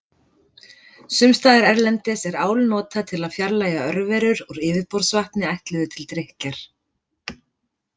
Sums staðar erlendis er ál notað til að fjarlægja örverur úr yfirborðsvatni ætluðu til drykkjar.